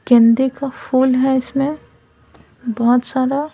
गेंदे का फूल है इसमें बहुत सारा --